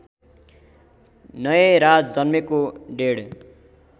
नयराज जन्मेको डेढ